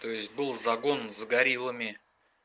то есть был загон с гориллами